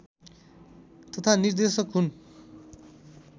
तथा निर्देशक हुन्